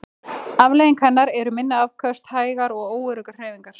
Afleiðing hennar eru minni afköst, hægar og óöruggar hreyfingar.